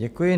Děkuji.